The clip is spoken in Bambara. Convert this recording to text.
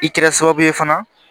I kɛra sababu ye fana